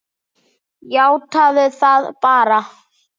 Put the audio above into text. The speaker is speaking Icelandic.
Játaðu það bara!